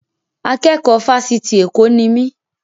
Akẹ́kọ̀ọ́ Fásitì Èkó ni mí.